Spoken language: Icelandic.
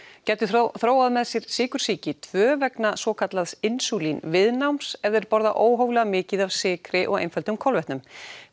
gætu þróað með sér sykursýki tvö vegna svokallaðs insúlínviðnáms ef þeir borða óhóflega mikið af sykri og einföldum kolvetnum